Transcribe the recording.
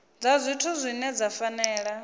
dza zwithu dzine dza fanela